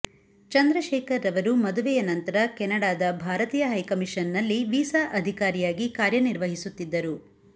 ಚಂದ್ರಶೇಖರ್ ರವರು ಮದುವೆಯ ನಂತರ ಕೆನಡಾದ ಭಾರತೀಯ ಹೈಕಮಿಷನ್ ನಲ್ಲಿ ವೀಸಾ ಅಧಿಕಾರಿಯಾಗಿ ಕಾರ್ಯನಿರ್ವಹಿಸುತ್ತಿದ್ದರು